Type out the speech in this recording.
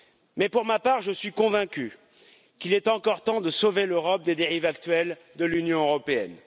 Mais pour ma part, je suis convaincu qu'il est encore temps de sauver l'Europe des dérives actuelles de l'Union européenne.